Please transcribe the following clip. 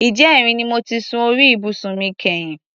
Ìjẹrin ni mo ti sun orí ibùsùn mi kẹ́yìn.